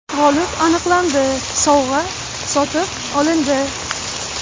G‘olib aniqlandi, sovg‘a sotib olindi.